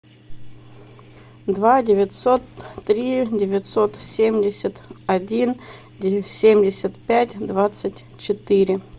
два девятьсот три девятьсот семьдесят один семьдесят пять двадцать четыре